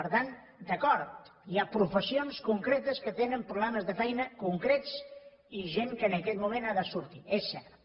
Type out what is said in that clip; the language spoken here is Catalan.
per tant d’acord hi ha professions concretes que tenen problemes de feina concrets i gent que en aquest moment ha de sortir és cert